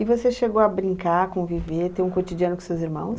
E você chegou a brincar, conviver, ter um cotidiano com seus irmãos?